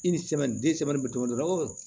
I ni sɛmɛni den sɛmɛni bɛ tobi